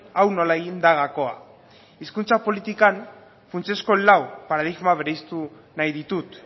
hau nola egin da gakoa hizkuntza politikan funtsezko lau paradigma berezitu nahi ditut